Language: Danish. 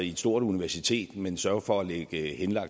et stort universitet men sørger for at lægge